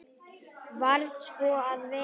Varð svo að vera.